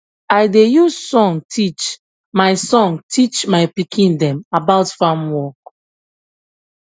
i da use song teach my song teach my pikin dem about farm work